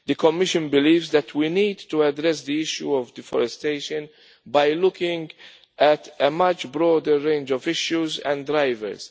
The Commission believes that we need to address the issue of deforestation by looking at a much broader range of issues and drivers.